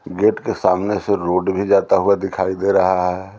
Gate के सामने से रोड भी जाता हुआ दिखाई दे रहा है।